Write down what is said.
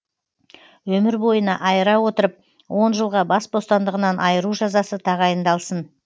өмір бойына айыра отырып он жылға бас бостандығынан айыру жазасы тағайындалсын